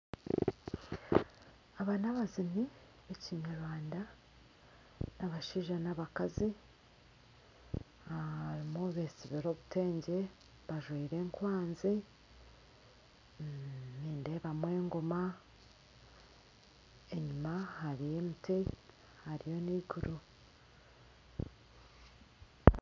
Aba nibaziini b'ekinyarwanda abashaija n'abakazi abamwe beesibire obutengye bajwire enkwanzi, nindeebamu engoma enyima hariyo emiti hariyo n'eiguru